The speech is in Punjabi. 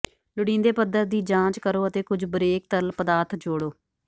ਲੋੜੀਂਦੇ ਪੱਧਰ ਦੀ ਜਾਂਚ ਕਰੋ ਅਤੇ ਕੁਝ ਬਰੇਕ ਤਰਲ ਪਦਾਰਥ ਜੋੜੋ